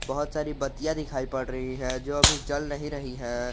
बहुत सारी बत्तियां दिखाई पड़ रही है जो अभी जल नहीं रही है।